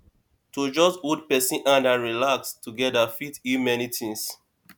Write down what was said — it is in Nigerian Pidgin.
to just hold person hand and relax together fit heal many things